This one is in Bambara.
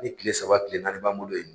Hali kile saba kile naani b'an bolo yen.